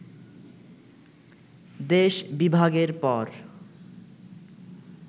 দেশ বিভাগের পর